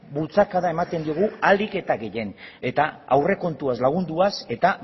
bultzakada ematen diogu ahalik eta gehienen eta aurrekontuaz lagunduaz eta